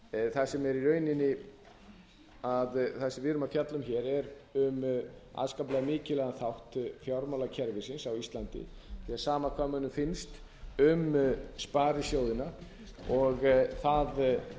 það sem við erum að fjalla um hér er um afskaplega mikilvægan þátt fjármálakerfisins á íslandi því að sama hvað mönnum finnst um sparisjóðina og það